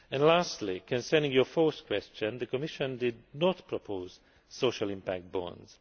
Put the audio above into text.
Lastly, concerning your fourth question, the Commission did not propose social impact bonds.